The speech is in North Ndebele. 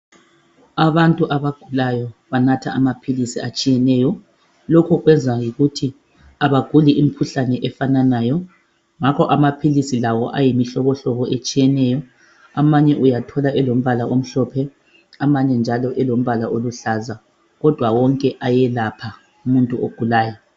Abantu abagulayo banatha amaphilisi atshiyeneyo lokhu kwenza yikuthi abaguli imikhuhlane efananayo ngakho amaphilisi lawo ayimihlobohlobo etshiyeneyo amanye uyathola elombala omhlophe amanye njalo elombala oluhlaza kodwa wonke ayelapha umuntu ogulayo.